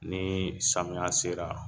Ni samiya sera